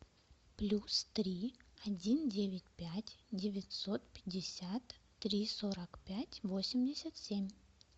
плюс три один девять пять девятьсот пятьдесят три сорок пять восемьдесят семь